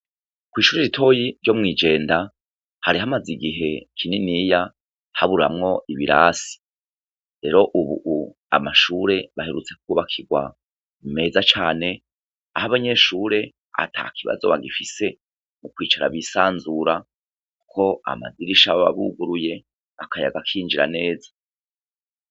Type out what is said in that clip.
Kw'ishure ritoyi ryo mw'ijenda, hari magaze igihe kininiya haburamwo ibirasi. Rero ubu amashure aherutse kwubakirwa meza cane, aho abanyeshure ata kibazo bagifise, kwicara bisanzura kuko amadirisha aba yuguruye, akayaga kinjira neza.